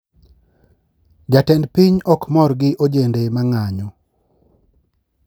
jatend piny okmor gi ojende mang`anyo